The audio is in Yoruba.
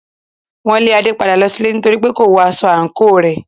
Wọn lé Ade padà lọ sílé nítorípé kò wọ aṣọ àǹkóò rẹ̀.